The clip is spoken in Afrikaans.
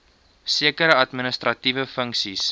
sekere administratiewe funksies